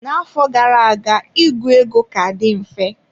Na-afọ gara aga ịgụ ego ka dị mfe.